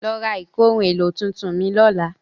Lọ ra ìkóhun-èlò tuntun mìí lọ́la.